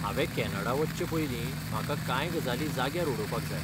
हांवें कॅनडा वचचे पयलीं म्हाका कांय गजाली जाग्यार उडोवपाक जाय.